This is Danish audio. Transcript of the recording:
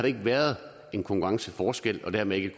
ikke været en konkurrenceforskel og dermed ikke